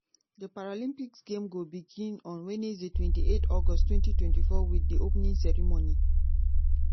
di paralympic games go begin on wednesday twenty eight august twenty twenty four wit di opening ceremony.